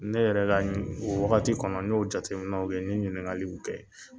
Ne yɛrɛ la ni o wagati kɔnɔ n y'o jateminɛw kɛ n ye ɲininkali kɛ.